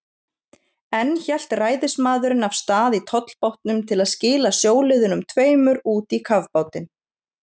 Enn hélt ræðismaðurinn af stað í tollbátnum til að skila sjóliðunum tveimur út í kafbátinn.